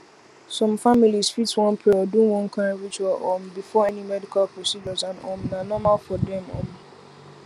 some families fit wan pray or do one kind ritual um before any medical procedure and um na normal for dem um